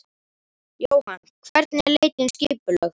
Jóhann: Hvernig er leitin skipulögð?